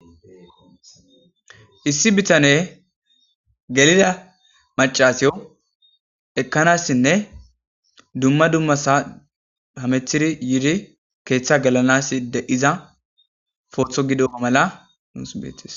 Issi bitaney geliza macashiyo ekanasinne dumma dumma hametid yiid keetha gelanasi de'iza poto gidoga mala nuusi betes.